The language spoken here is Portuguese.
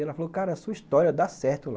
E ela falou, cara, a sua história dá certo lá.